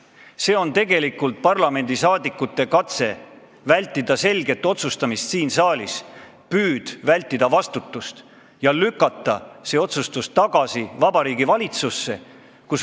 Nii et see oleks tegelikult parlamendiliikmete katse vältida selget otsustamist siin saalis, püüd vältida vastutust ja lükata see otsustus tagasi Vabariigi Valitsusse.